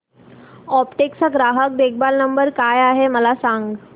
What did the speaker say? Aptech चा ग्राहक देखभाल नंबर काय आहे मला सांग